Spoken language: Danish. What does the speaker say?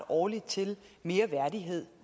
årligt til mere værdighed